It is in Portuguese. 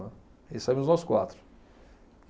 Aí saímos nós quatro.